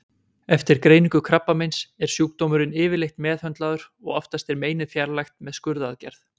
Eftir greiningu krabbameins er sjúkdómurinn yfirleitt meðhöndlaður og oftast er meinið fjarlægt með skurðaðgerð.